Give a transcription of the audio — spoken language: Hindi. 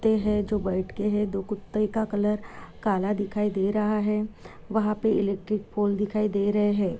है जो बैठके है दो कुत्ताई का कलर काला दिखाई दे रहा है वहा पे इलेक्ट्रिक पोल दिखाई दे रहे है।